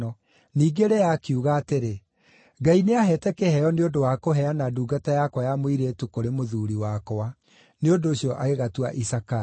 Ningĩ Lea akiuga atĩrĩ, “Ngai nĩaheete kĩheo nĩ ũndũ wa kũheana ndungata yakwa ya mũirĩtu kũrĩ mũthuuri wakwa.” Nĩ ũndũ ũcio agĩgatua Isakaru.